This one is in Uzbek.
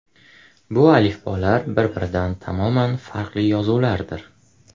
Bu alifbolar bir-biridan tamoman farqli yozuvlardir.